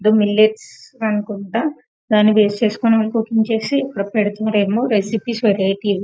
The millets అనుకుంటా దాన్ని base చేసుకొని కూకింగ్ చేసి ఇక్కడ పెడుతున్నారేమో రెసిపీస్ వెరైటీస్ .